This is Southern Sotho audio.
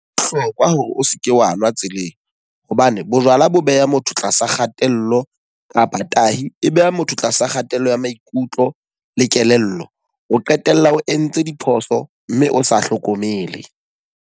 Ho bohlokwa hore o seke wa nwa tseleng. Hobane bojwala bo beha motho tlasa kgatello kapa tahi e beha motho tlasa kgatello ya maikutlo le kelello. O qetella o entse diphoso mme o sa hlokomele.